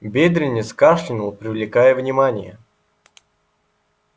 бедренец кашлянул привлекая внимание